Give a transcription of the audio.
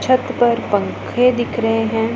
छत पर पंखे दिख रहे है।